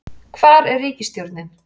hvar er ríkisstjórnin?